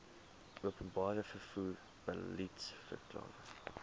openbare vervoer beliedsverklaring